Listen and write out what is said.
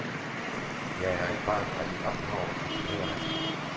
Jeg er et barn af min opdragelse, fortæller han.